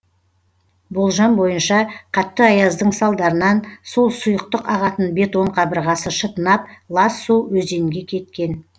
болжам бойынша қатты аяздың салдарынан сол сұйықтық ағатын бетон қабырғасы шытынап лас су өзенге кеткен